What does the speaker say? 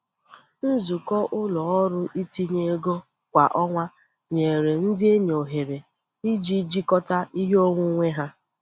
Nzukọ ụlọ ọrụ itinye ego kwa ọnwa nyere ndị enyi ohere iji jikọta ihe onwunwe ha.